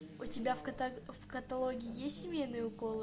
у тебя в каталоге есть семейные уколы